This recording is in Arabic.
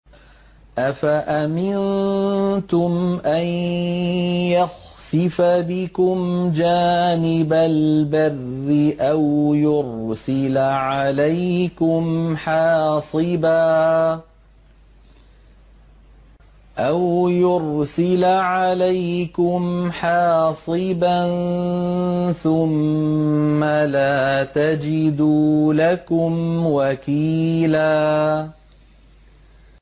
أَفَأَمِنتُمْ أَن يَخْسِفَ بِكُمْ جَانِبَ الْبَرِّ أَوْ يُرْسِلَ عَلَيْكُمْ حَاصِبًا ثُمَّ لَا تَجِدُوا لَكُمْ وَكِيلًا